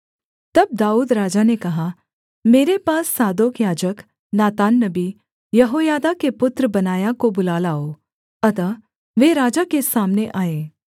तब दाऊद राजा ने कहा मेरे पास सादोक याजक नातान नबी यहोयादा के पुत्र बनायाह को बुला लाओ अतः वे राजा के सामने आए